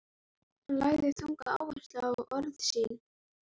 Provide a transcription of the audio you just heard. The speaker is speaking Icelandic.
Hann lagði þunga áherslu á orð sín.